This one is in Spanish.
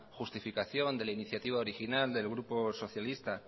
justificaciónde la iniciativa original del grupo socialista